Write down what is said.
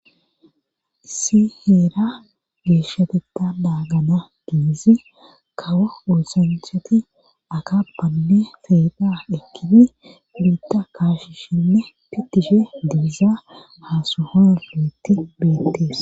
Issi heera geeshshateta naagana giizi kawo oosanchati akafanne peexa ekkidi biita kaashishinne pittishe diiza ha sohoyi utti beettees.